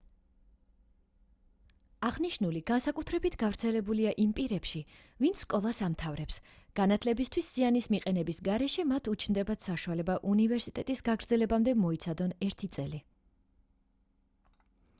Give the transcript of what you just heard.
აღნიშნული განსაკუთრებით გავრცელებულია იმ პირებში ვინც სკოლას ამთავრებს განათლებისთვის ზიანის მიყენების გარეშე მათ უჩნდებათ საშუალება უნივერსიტეტის გაგრძელებამდე მოიცადონ ერთი წელი